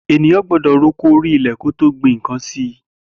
Éniyàn gbọdọ rókó óri ilẹ kó tó gbin nkàn si